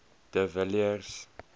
de villiers